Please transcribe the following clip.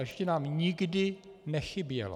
A ještě nám nikdy nechybělo.